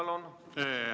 Valdo Randpere, palun!